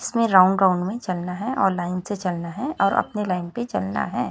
इसमें round round में चलना है और लाइन से चलना है और अपने लाइन पे चलना है।